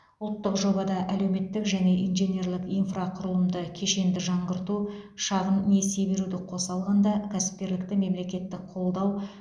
ұлттық жобада әлеуметтік және инженерлік инфрақұрылымды кешенді жаңғырту шағын несие беруді қоса алғанда кәсіпкерлікті мемлекеттік қолдау